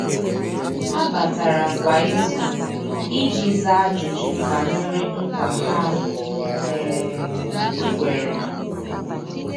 Há batara kwa ìzù iji zàá ájụ́jụ́ banyere nkwa ha um kwèrè.